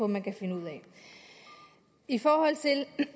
man kan finde ud af i forhold til det